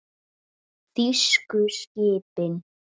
Þýsku skipin.